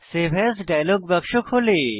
save as dialogue বাক্স খোলে